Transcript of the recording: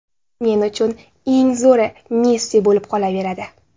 Men uchun eng zo‘ri Messi bo‘lib qolaveradi”.